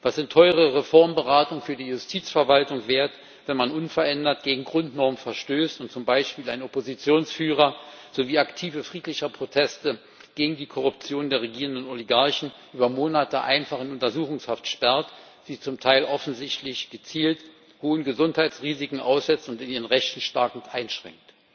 Was sind teure Reformberatungen für die Justizverwaltung wert, wenn man unverändert gegen Grundnormen verstößt und zum Beispiel einen Oppositionsführer sowie Aktive friedlicher Proteste gegen die Korruption der regierenden Oligarchen über Monate einfach in Untersuchungshaft sperrt, sie zum Teil offensichtlich gezielt hohen Gesundheitsrisiken aussetzt und in ihren Rechten stark einschränkt?